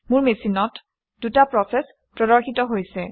মোৰ মেচিনত দুটা প্ৰচেচ প্ৰদৰ্শিত হৈছে